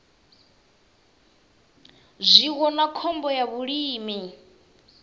zwiwo na khombo ya vhulimi